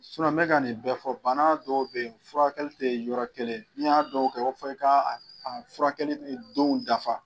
n bɛ ka nin bɛ fɔ bana dɔw bɛ yen furakɛli tɛ yɔrɔ kelen n'i y'a dɔn fɔ i ka furakɛ don dafa